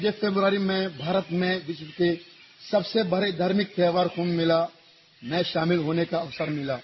मुझे फरवरी में भारत में विसित पे सबसे बड़े धार्मिक त्यौहार कुम्भ मेला में शामिल होने का अवसर मिला